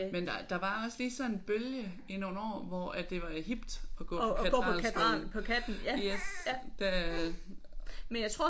Men der der var også lige sådan en bølge i nogle år hvor det var hipt at gå på Katedralskolen yes da